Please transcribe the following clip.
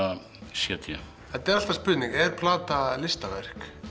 c d þetta er alltaf spurning er plata listaverk